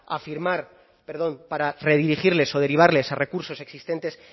afirmar perdón para redirigirles o derivarles a recursos existentes